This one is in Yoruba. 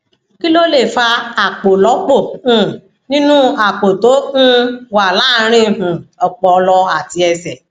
kí ló lè fa àpòlọpò um nínú àpò tó um wà láàárín um ọpọlọ àti ẹsè